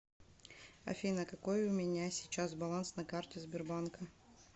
афина какой у меня сейчас баланс на карте сбербанка